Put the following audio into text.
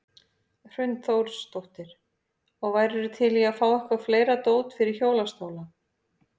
Hrund Þórsdóttir: Og værirðu til í að fá eitthvað fleira dót fyrir hjólastóla?